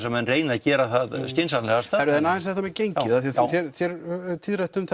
að menn reyni að gera það skynsamlegasta heyrðu en aðeins þetta með gengið af því þér hefur verið tíðrætt um